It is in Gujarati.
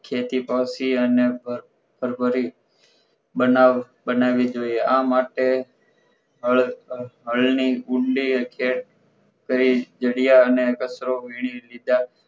ખેતી પર થી અને પરભરી બનાવી જોઈએ આ માટે હળ ની ઊંડી ખેતી અને જડીયાર અને કચરો વીણી લીધા